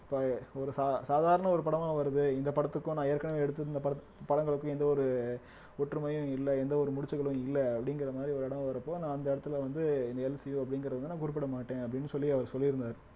இப்ப ஒரு சா~ சாதாரண ஒரு படமா வருது இந்த படத்துக்கும் நான் ஏற்கனவே எடுத்திருந்த படத்~ படங்களுக்கும் எந்த ஒரு ஒற்றுமையும் இல்ல எந்த ஒரு முடிச்சுகளும் இல்ல அப்படிங்கிற மாதிரி ஒரு இடம் வர்றப்போ நான் அந்த இடத்திலே வந்து இந்த எல் சி யு அப்படிங்கிறத வந்து நான் குறிப்பிட மாட்டேன் அப்படின்னு சொல்லி அவர் சொல்லியிருந்தாரு